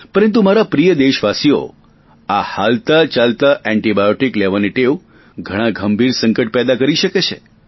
પરંતુ મારા પ્રિય દેશવાસીઓ આ હાલતાચાલતા એન્ટિબાયોટિક લેવાની ટેવ ઘણી ગંભીર સંકટ પેદા કરી શકે છે